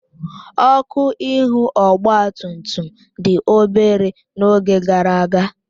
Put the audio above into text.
Ọkụ ihu ọgba tum tum dị obere n'oge gara aga